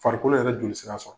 Farikolo yɛrɛ joli sira sɔrɔ.